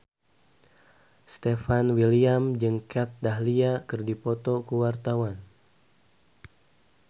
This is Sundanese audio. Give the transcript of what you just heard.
Stefan William jeung Kat Dahlia keur dipoto ku wartawan